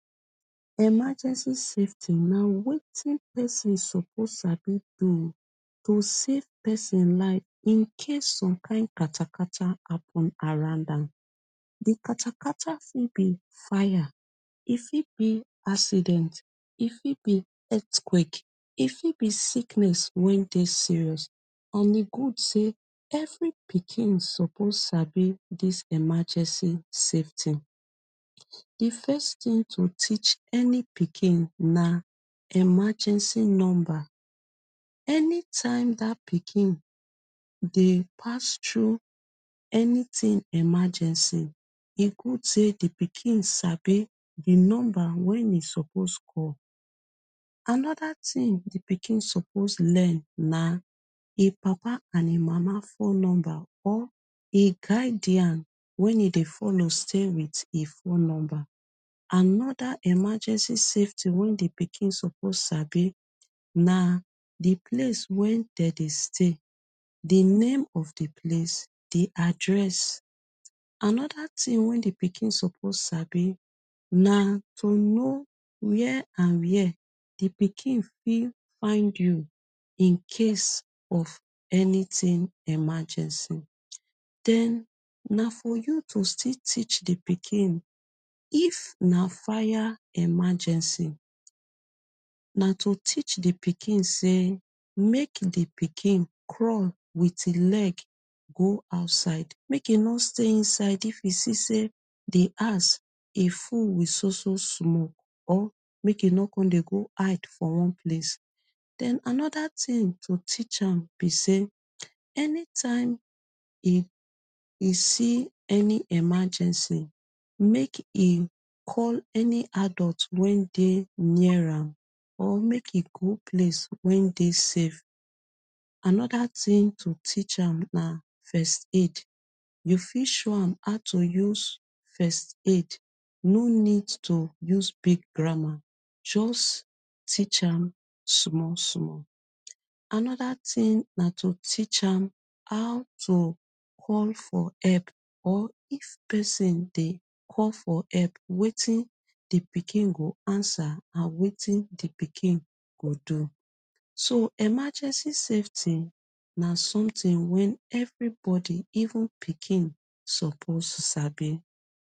Emergency safety na wetin pesin suppose sabi do to save pesin life in case some kind katakata happen around am katakata fit be fir e fit be accident e fit be earthquake e fit be sickness wen dey serious and e good say every pikin suppose sabi dis emergency safety di first tin teach any pikin na emergency number anytime dat pikin dey pass through anytin emergency e good say di pikin sabi di number way e suppose call anoda tin di pikin. suppose learn na him papa and mama phone number or e guidance way e dey follow stay with e phone number anoda emergency safety way di pikin suppose sabi na di place wen dem dey stay di name of di place di address anoda tin di pikin suppose sabi na to no were and were di pikin fit find you in case of anytin emergency den na for you to still teach di pikin if na fire emergency na to teach di pikin say make di pikin run wit him leg go outside make e no stay inside e fit still say di house e full wit so so smoke or make e no go hide for one place den anoda to to teach am be say anytime e see any emergency make e call any adult way dey near or make e go anyplace way dey safe, anoda tin to teach am na first aid you fit show am how to use first aid no need to use big grammar just teach am small small, anoda tin na to teach am how to call for help or if pesin dey call for help wetin pikin go answer and wetin di pikin go do so emergency safety na sometin way everybodi even pikin suppose sabi